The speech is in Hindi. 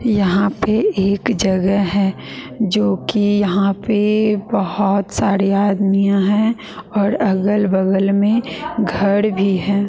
यहां पे एक जगह है जो कि यहां पे बहुत सारे आदमीयां हैं और अगल बगल में घर भी हैं।